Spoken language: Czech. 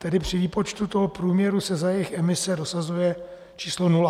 Tedy při výpočtu toho průměru se za jejich emise dosazuje číslo nula.